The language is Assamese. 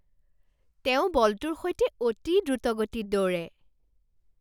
তেওঁ বলটোৰ সৈতে অতি দ্ৰুতগতিত দৌৰে!